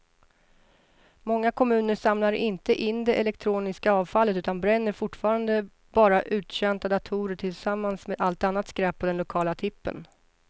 Många kommuner samlar inte in det elektroniska avfallet utan bränner fortfarande bara uttjänta datorer tillsammans med allt annat skräp på den lokala tippen.